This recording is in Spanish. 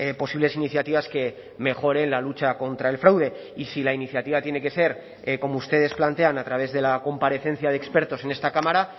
posibles iniciativas que mejoren la lucha contra el fraude y si la iniciativa tiene que ser como ustedes plantean a través de la comparecencia de expertos en esta cámara